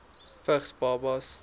vigs babas